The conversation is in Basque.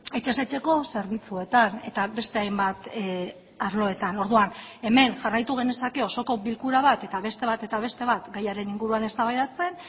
etxez etxeko zerbitzuetan eta beste hainbat arloetan orduan hemen jarraitu genezake osoko bilkura bat eta beste bat eta beste bat gaiaren inguruan eztabaidatzen